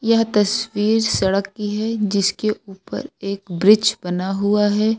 यह तस्वीर सड़क की है जिसके ऊपर एक ब्रीज बना हुआ है।